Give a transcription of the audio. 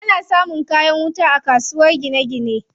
Ana samun kayan wuta a kasuwar gine gine.